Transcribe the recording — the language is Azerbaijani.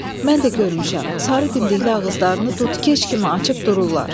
Mən də görmüşəm, sarı dimdikli ağızlarını dud-keç kimi açıb dururlar.